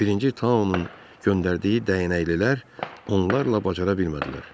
Birinci Tao-nun göndərdiyi dəyənəklilər onlarla bacara bilmədilər.